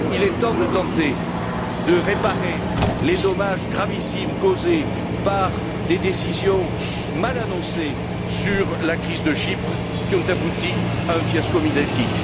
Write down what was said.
Il est temps de tenter de réparer les dommages gravissimes causés par des décisions mal annoncées sur la crise de Chypre, qui ont abouti à un fiasco médiatique.